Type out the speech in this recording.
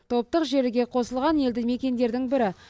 топтық желіге қосылған елді мекендердің бірі